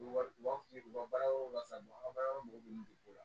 U bɛ wari bɔ baara yɔrɔ la sa don an mago bɛ dugu la